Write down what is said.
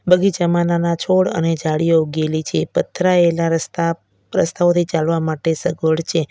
બગીચામાં નાના છોડ અને ઝાડીઓ ઉગેલી છે પથરાયેલા રસ્તા રસ્તાઓથી ચાલવા માટે સગવડ છે.